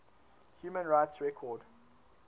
human rights record